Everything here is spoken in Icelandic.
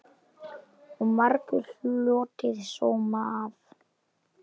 Og margur hlotið sóma af.